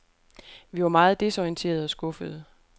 Vi var meget desorienterede og skuffede.